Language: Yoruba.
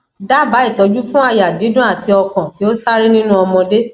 daba itoju fun aya didun ati okan ti o sare ninu omode